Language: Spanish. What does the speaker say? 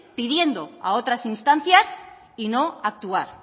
pidiendo a otras instancias y no actuar